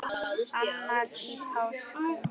annar í páskum